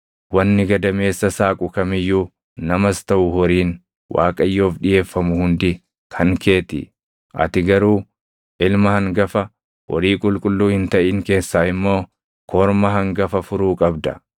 Wanni gadameessa saaqu kam iyyuu namas taʼu horiin Waaqayyoof dhiʼeeffamu hundi kan kee ti. Ati garuu ilma hangafa, horii qulqulluu hin taʼin keessaa immoo korma hangafa furuu qabda.